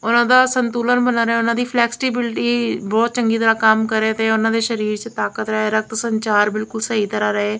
ਉਹਨਾਂ ਦਾ ਸੰਤੁਲਨ ਬਣਾ ਰਹੇ ਉਹਨਾਂ ਦੀ ਫਲੈਕਸਟੀਬਿਲਟੀ ਬਹੁਤ ਚੰਗੀ ਤਰ੍ਹਾਂ ਕੰਮ ਕਰੇ ਤੇ ਉਹਨਾਂ ਦੇ ਸ਼ਰੀਰ 'ਚ ਤਾਕਤ ਰਹੇ ਰਕਤ ਸੰਚਾਰ ਬਿਲਕੁਲ ਸਹੀ ਤਰ੍ਹਾਂ ਰਏ।